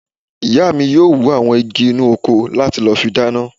Ìyá mi yóò wú àwọn igi inú oko láti lọ fi dáná